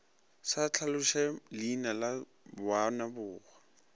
sa hlaloše leina la moababohwa